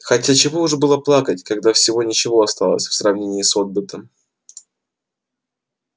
хотя чего уж было плакать когда всего ничего оставалось в сравнении с отбытым